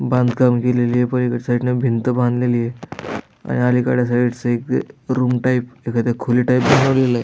बांधकाम केलेलंय पलीकडच्या साइड भिंत बांधलेलीय आणि अलीकडच्या साइड च एका रूम टाइप एका खोली टाइप बनवलेलय.